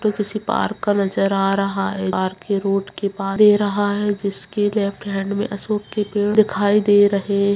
ये किसी पार्क का नजर आ रहा है पार्क के रोड के जिसके लेफ्ट हैंड में अशोक के पेड़ दिखाई दे रहे --